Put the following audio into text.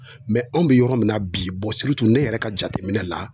anw bɛ yɔrɔ min na bi ne yɛrɛ ka jateminɛ la